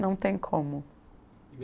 Não tem como.